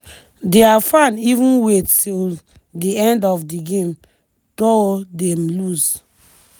dia fans even wait till di end of di game though dem lose.